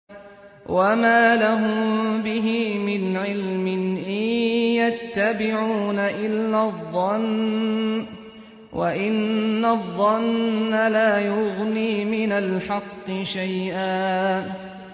وَمَا لَهُم بِهِ مِنْ عِلْمٍ ۖ إِن يَتَّبِعُونَ إِلَّا الظَّنَّ ۖ وَإِنَّ الظَّنَّ لَا يُغْنِي مِنَ الْحَقِّ شَيْئًا